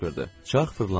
Çarx fırlandı.